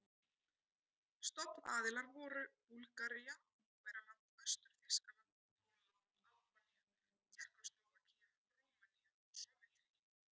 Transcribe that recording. Stofnaðilar voru Búlgaría, Ungverjaland, Austur-Þýskaland, Pólland, Albanía, Tékkóslóvakía, Rúmenía og Sovétríkin.